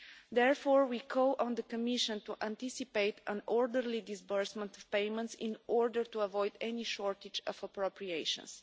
Therefore, we call on the Commission to anticipate an orderly disbursement of payments in order to avoid any shortage of appropriations.